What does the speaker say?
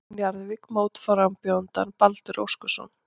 Njarðvík mótframbjóðandann Baldur Óskarsson.